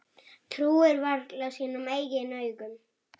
Trúir varla sínum eigin augum.